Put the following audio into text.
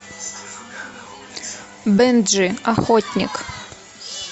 бенджи охотник